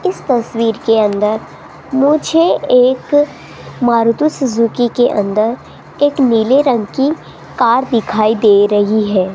इस तस्वीर के अंदर मुझे एक मारुति सुजुकी के अंदर एक नीले रंग की कार दिखाई दे रही है।